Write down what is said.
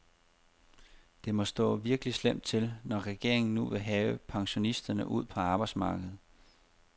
Det må stå virkelig slemt til, når regeringen nu vil have pensionisterne ud på arbejdsmarkedet.